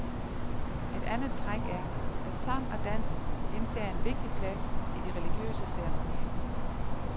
Et andet træk er, at sang og dans indtager en vigtig plads i de religiøse ceremonier.